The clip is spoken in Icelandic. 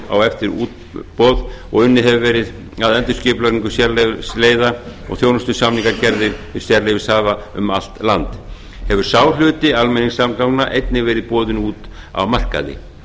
á eftir útboð og unnið hefur verið að skipulagningu sérleyfisleiða og þjónustusamningagerðir við sérleyfishafa um allt land hefur sá hluti almenningssamgangna einnig verið boðinn út á markaði